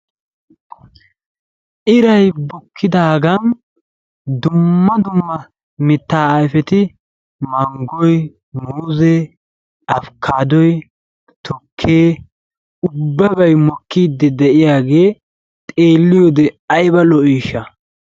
Iray bukkidaagan dumma dumma mittaa ayfeti manggoy, muuzee, afikaadoy, tukkee ubbabay mokiidi de'iyaagee xeelliyode ayiba lo'iishsha.